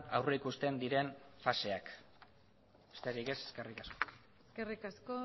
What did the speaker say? aurrikusten diren faseak besterik ez eskerrik asko eskerrik asko